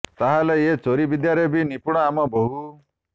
ତାହେଲେ ଏ ଚୋରି ବିଦ୍ୟାରେ ବି ନିପୁଣ ଆମ ବୋହୂ